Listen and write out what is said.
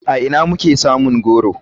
A ina muke samun goro?